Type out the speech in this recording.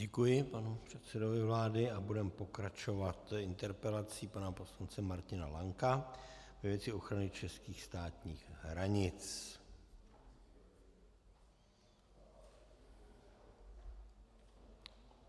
Děkuji panu předsedovi vlády a budeme pokračovat interpelací pana poslance Martina Lanka ve věci ochrany českých státních hranic.